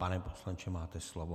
Pane poslanče, máte slovo.